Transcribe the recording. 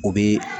O bi